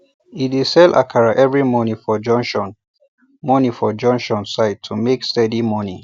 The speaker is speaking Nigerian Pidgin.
e dey sell akara every morning for junction morning for junction side to make steady money